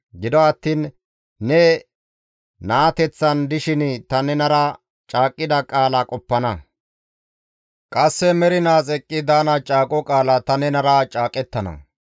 Gido attiin ne naateththan dishin ta nenara caaqqida qaala qoppana; qasse mernaas eqqi daana caaqo qaala ta nenara caaqettana.